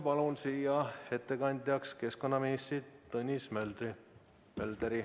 Palun ettekandjaks keskkonnaminister Tõnis Möldri!